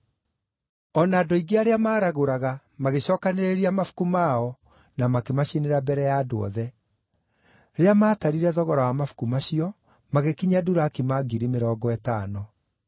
Andũ aingĩ arĩa maaragũraga, magĩcookanĩrĩria mabuku mao na makĩmacinĩra mbere ya andũ othe. Rĩrĩa maatarire thogora wa mabuku macio, magĩkinyia durakima ngiri mĩrongo ĩtano.